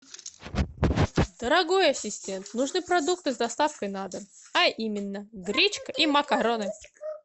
дорогой ассистент нужны продукты с доставкой на дом а именно гречка и макароны